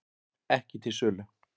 Ekki til sölu